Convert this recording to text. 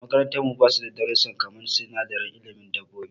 Makarantar mu basu da darussa kaman sinadaran ilimin dabobbi.